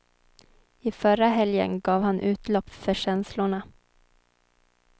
I förra helgen gav han utlopp för känslorna.